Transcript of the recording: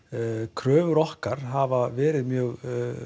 kröfur okkar hafa verið mjög